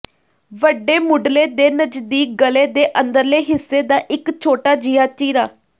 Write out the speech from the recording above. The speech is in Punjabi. ਵੱਡੇ ਮੁੱਢਲੇ ਦੇ ਨਜ਼ਦੀਕ ਗਲ਼ੇ ਦੇ ਅੰਦਰਲੇ ਹਿੱਸੇ ਦਾ ਇੱਕ ਛੋਟਾ ਜਿਹਾ ਚੀਰਾ